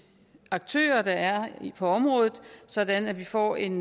aktører der er på området sådan at vi får en